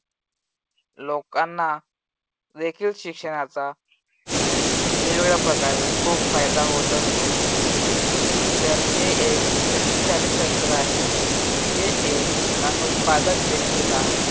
लोकांना रेखीव शिक्षणाचा वेगवेगळ्या प्रकारे खूप फायदा होत असतो. शिक्षण हे एक शक्तिशाली शस्त्र आहे. जे एक अनुत्पादक व्यक्तीला